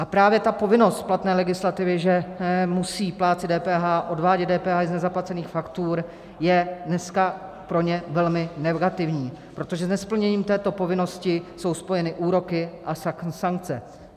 A právě ta povinnost platné legislativy, že musí plátci DPH odvádět DPH i z nezaplacených faktur, je dneska pro ně velmi negativní, protože s nesplněním této povinnosti jsou spojeny úroky a sankce.